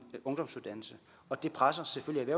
ungdomsuddannelse og det presser selvfølgelig